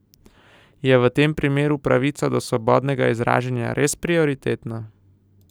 Je v tem primeru pravica do svobodnega izražanja res prioritetna?